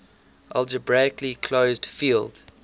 algebraically closed field